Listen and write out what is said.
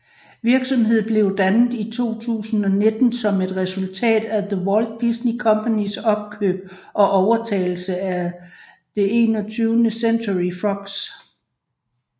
Virksomheden blev dannet i 2019 som et resultat af The Walt Disney Companys opkøb og overtagelse af 21st Century Fox